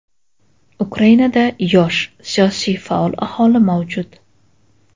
Ukrainada yosh, siyosiy faol aholi mavjud.